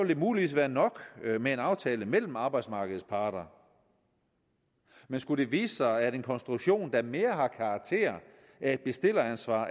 det muligvis være nok med en aftale mellem arbejdsmarkedets parter men skulle det vise sig at en konstruktion der mere har karakter af et bestilleransvar